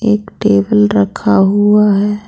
एक टेबल रखा हुआ है।